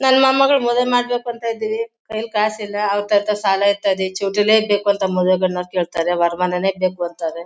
ನನ್ ಮೊಮ್ಮಗಳ್ ಮದ್ವೆ ಮಾಡ್ಬೇಕು ಅಂತ ಇದ್ದಿವಿ. ಕೈಯಲ್ ಕಾಸಿಲ್ಲ ಅವ್ರ್ ತಾವ್ ಸಾಲ ಎತ್ತದೆ ಚೌಟ್ರಿನೇ ಬೇಕು ಅಂತ ಮದ್ವೆ ಗಂಡನವರ್ ಕೇಳ್ತಾರೆ ವರಮಾನನೇ ಬೇಕು ಅಂತಾರೆ.